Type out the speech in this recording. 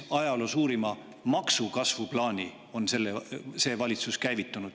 Ajaloo suurima maksukasvu plaani on see valitsus käivitanud.